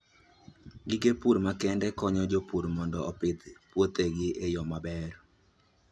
Gige pur makende konyo jopur mondo opidh puothegi e yo maber.